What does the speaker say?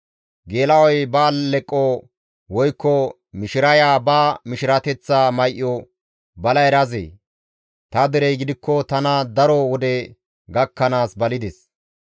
Geela7oy ba alleqo woykko mishiraya ba mishirateththa may7o bala erazee? ta derey gidikko tana daro wode gakkanaas balides.